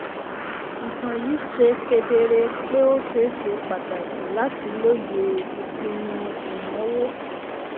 ìtàn yìí ṣe kedere pé ó ṣe ṣe pàtàkì láti lóye àwọn ìpinnu ìnáwó.